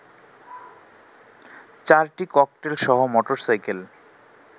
চারটি ককটেলসহ মোটরসাইকেল